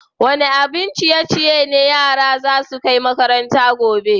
Wani abin ciye-ciye ne yaran za su kai makaranta gobe?